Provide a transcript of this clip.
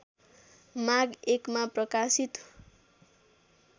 माघ १ मा प्रकाशित